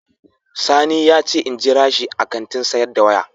Sani ya ce in jira shi a Kantin sayar da kaya.